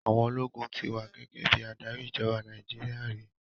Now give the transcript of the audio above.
Àwọn ológun ti wà gẹ́gẹ́ bí adarí ìjọba Nàìjíríà rí.